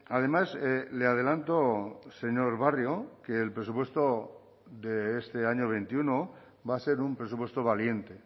además le adelanto señor barrio que el presupuesto de este año veintiuno va a ser un presupuesto valiente